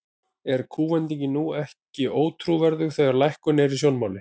Er kúvendingin nú ekki ótrúverðug, þegar að lækkun er í sjónmáli?